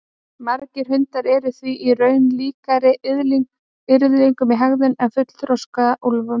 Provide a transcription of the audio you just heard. Margir hundar eru því í raun líkari yrðlingum í hegðun en fullþroska úlfum.